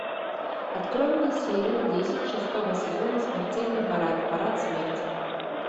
открой мне серию десять шестого сезона смертельный парад парад смерти